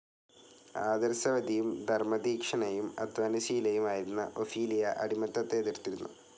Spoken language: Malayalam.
ആദർശവതിയും ധർമ്മതീക്ഷ്ണയും അദ്ധ്വാനശീലയും ആയിരുന്ന ഒഫീലിയ അടിമത്തത്തെ എതിർത്തിരുന്നു.